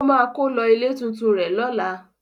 Ó máa kó lọ ilé tuntun rẹ̀ lọ́lá.